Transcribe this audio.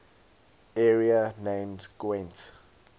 area named gwent